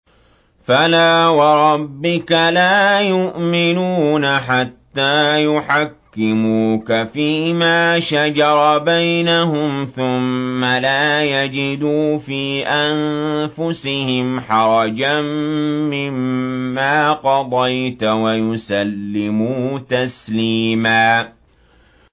فَلَا وَرَبِّكَ لَا يُؤْمِنُونَ حَتَّىٰ يُحَكِّمُوكَ فِيمَا شَجَرَ بَيْنَهُمْ ثُمَّ لَا يَجِدُوا فِي أَنفُسِهِمْ حَرَجًا مِّمَّا قَضَيْتَ وَيُسَلِّمُوا تَسْلِيمًا